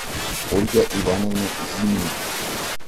ольга ивановна зимина